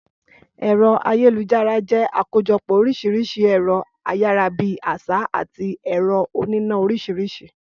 Ẹ̀rọ ayélujára jẹ́ àkójọpọ́ oríṣiríṣi ẹ̀rọ ayára-bí-àṣá àti ẹ̀rọ oníná oríṣiríṣi